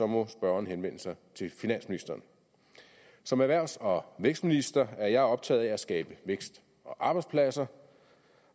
må spørgeren henvende sig til finansministeren som erhvervs og vækstminister er jeg optaget af at skabe vækst og arbejdspladser